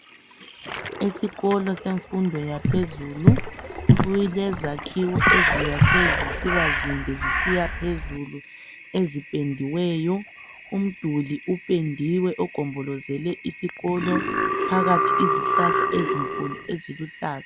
Esikolo senfundo yaphezulu ,kulezakhiwo eziyakhwe zisiba zinde zisiyaphezulu. Eziphendiweyo ,umduli uphendiwe ogombolozele isikolo phakathi izihlahla ezinkulu eziluhlaza.